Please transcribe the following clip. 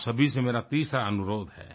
आप सभी से मेरा तीसरा अनुरोध है